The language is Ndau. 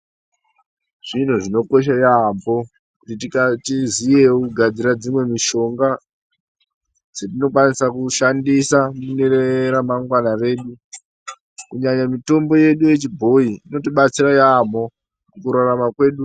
Zviro zvinokosha yaamho kuti tiziyewo kugadzira mishonga dzetinokwanisa kushandisa mune ramangwana redu kunyanya mitombo yedu yechibhoi inotibatsira yaamho mukurarama kwedu.